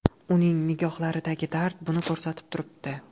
Uning nigohlaridagi dard buni ko‘rsatib turibdi.